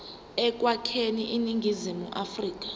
ekwakheni iningizimu afrika